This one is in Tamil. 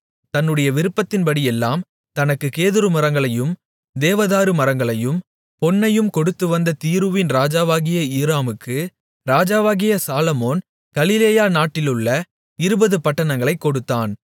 தன்னுடைய விருப்பத்தின்படியெல்லாம் தனக்குக் கேதுருமரங்களையும் தேவதாருமரங்களையும் பொன்னையும் கொடுத்துவந்த தீருவின் ராஜாவாகிய ஈராமுக்கு ராஜாவாகிய சாலொமோன் கலிலேயா நாட்டிலுள்ள 20 பட்டணங்களைக் கொடுத்தான்